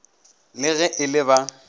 le ge e le ba